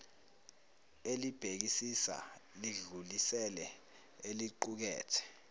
elibhekisisa lidlulisele eliqukethe